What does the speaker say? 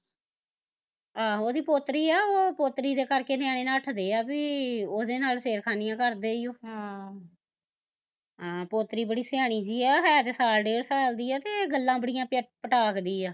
ਆਹੋ ਓਹਦੀ ਪੋਤਰੀ ਆ ਓਹ ਪੋਤਰੀ ਦੇ ਕਰਕੇ ਨਿਆਣੇ ਨੱਠਦੇ ਆ ਵੀ ਉਹਦੇ ਨਾਲ਼ ਛੇੜਖਾਨੀਆ ਕਰਦੇ ਈ ਓ ਹਮ ਹਾਂ ਪੋਤਰੀ ਬੜੀ ਸਿਆਣੀ ਜਹੀ ਆ, ਹੈ ਤੇ ਸਾਲ ਡੇਢ ਸਾਲ ਦੀ ਆ ਤੇ ਗੱਲਾਂ ਬੜੀਂਆ ਪਟਾਕ ਦੀ ਐ